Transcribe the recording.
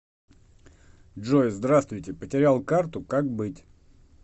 джой сдраствуйте потерял карту как быть